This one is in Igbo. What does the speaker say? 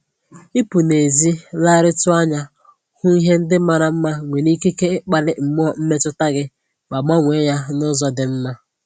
Ịpụ n'ezi legharịtụ anya hụ ihe ndị mara mma nwere ikike ikpali mmụọ mmetụta gị ma gbanwee ya n'ụzọ dị mma